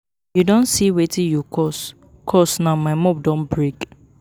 You don see wetin you cause cause now my mop don break